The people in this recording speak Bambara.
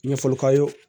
Ɲɛfɔli k'a ye